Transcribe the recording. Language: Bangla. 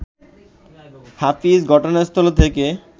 হাফিজ ঘটনাস্থল থেকে